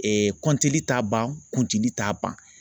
Ee t'a ban kuncili t'a ban